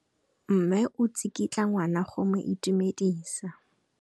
Mme o tsikitla ngwana go mo itumedisa.